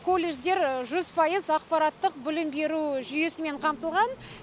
колледждер жүз пайыз ақпараттық білім беру жүйесімен қамтылған